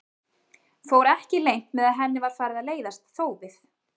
Fór ekki leynt með að henni var farið að leiðast þófið.